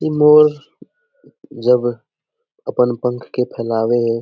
इ मोर जब अपन पंख के फैलावे ये --